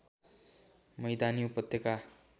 मैदानी उपत्यका